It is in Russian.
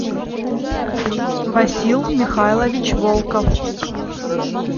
васил михайлович волков